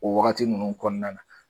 O wagati ninnu kɔnɔna na.